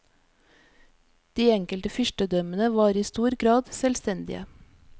De enkelte fyrstedømmene var i stor grad selvstendige.